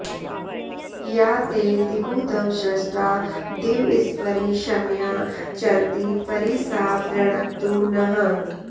या ते॑ दि॒द्युदव॑सृष्टा दि॒वस्परि॑ क्ष्म॒या चर॑ति॒ परि॒ सा वृ॑णक्तु नः